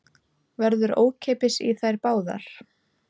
Verður ókeypis í þær báðar